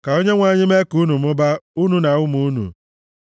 Ka Onyenwe anyị mee ka unu mụbaa, unu na ụmụ unu.